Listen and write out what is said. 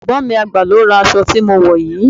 Ẹ̀gbọ́n mi àgbà ló ra aṣọ tí mo wò yìí.